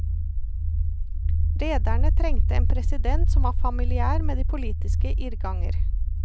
Rederne trengte en president som var familiær med de politiske irrganger.